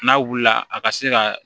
N'a wulila a ka se ka